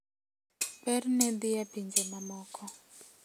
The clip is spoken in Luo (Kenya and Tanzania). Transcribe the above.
Berne dhi e pinje mamoko.